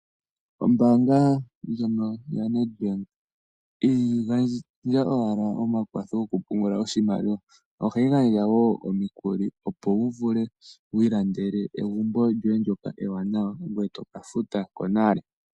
Ombaanga ndjono yaNedbank ihayi gandja owala omakwatho gokupungula oshimaliwa , ohayi gandja woo omikuli opo wuvule wiilandele egumbo lyoye ndjoka ewananwa ngwee toke yi gandja konale.